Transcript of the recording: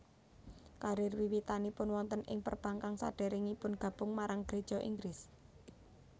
Karir wiwitanipun wonten ing perbankan sadèrèngipun gabung marang Geréja Inggris